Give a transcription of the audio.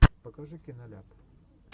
покажи киноляп